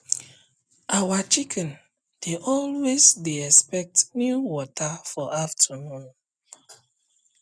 our chicken dey always dey expect new water for afternoon